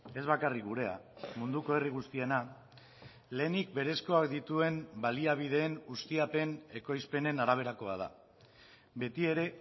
ez bakarrik gurea munduko herri guztiena lehenik berezkoak dituen baliabideen ustiapen ekoizpenen araberakoa da beti ere